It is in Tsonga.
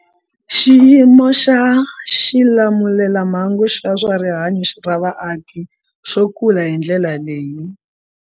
Xiyimo xa xilamulelamhangu xa swa rihanyu ra vaaki xo kula hi ndlela leyi.